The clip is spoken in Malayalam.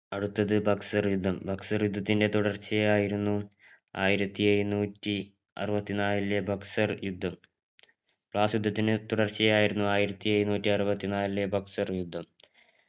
അടുത്ത് ബക്സർ യുദ്ധം ബക്സർ യുദ്ധത്തിൻറെ തുടർച്ചയായിരുന്നു ആയിരത്തി എഴുന്നൂറ്റി ആറുവത്തതിനാലിലെ ബക്സർ യുദ്ധം ബ്ലാസ് യുദ്ധത്തിന്റെ തുടർച്ചയായിരുന്നു ആയിരത്തി എഴുന്നൂറ്റി ആറുവത്തതിനാലിലെ ബക്സർ യുദ്ധം